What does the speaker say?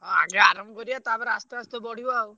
ହଁ ଆଗେ ଆରମ୍ଭ କରିଆ ତାପରେ ଆସ୍ତେ ଆସ୍ତେ ବଢିବ ଆଉ।